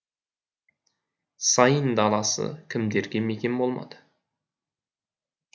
сайын даласы кімдерге мекен болмады